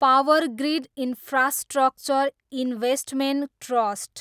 power grid infrastructure investment trust